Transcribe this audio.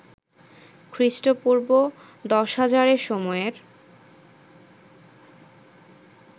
খ্রী: পূর্ব১০০০০ এ সময়ের